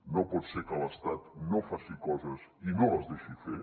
no pot ser que l’estat no faci coses i no les deixi fer